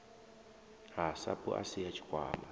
ha sapu asi ya tshikwama